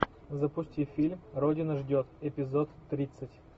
запусти фильм родина ждет эпизод тридцать